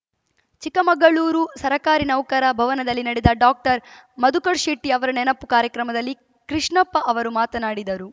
ಚಿಕ್ಕಮಗಳೂರು ಸರ್ಕಾರಿ ನೌಕರರ ಭವನದಲ್ಲಿ ನಡೆದ ಡಾಕ್ಟರ್ ಮಧುಕರ್‌ಶೆಟ್ಟಿ ಅವರ ನೆನಪು ಕಾರ್ಯಕ್ರಮದಲ್ಲಿ ಕೃಷ್ಣಪ್ಪ ಅವರು ಮಾತನಾಡಿದರು